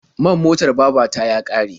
Man motar baba ta ya ƙare.